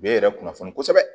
U bɛ yɛrɛ kunnafoni kosɛbɛ